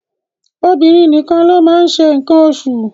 Obìnrin nìkan ló máa ń ṣe nǹkan oṣù